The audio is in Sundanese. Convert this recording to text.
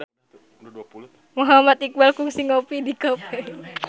Muhammad Iqbal kungsi ngopi di cafe